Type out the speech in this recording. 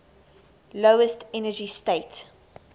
lowest energy state